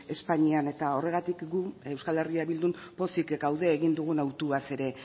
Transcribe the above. espainian eta horregatik gu euskal herrian bildun pozik gaude egin dugun autuaz ere